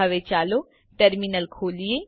હવે ચાલો ટર્મીનલ ખોલીએ